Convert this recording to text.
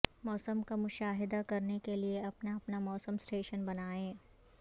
موسم کا مشاہدہ کرنے کے لئے اپنا اپنا موسم سٹیشن بنائیں